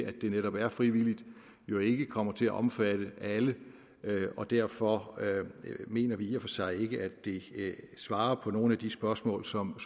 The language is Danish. at det netop er frivilligt jo ikke kommer til at omfatte alle derfor mener vi i og for sig ikke at det svarer på nogle af de spørgsmål som